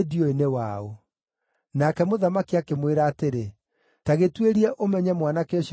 Nake mũthamaki akĩmwĩra atĩrĩ, “Ta gĩtuĩrie ũmenye mwanake ũcio nĩ mũriũ waũ.”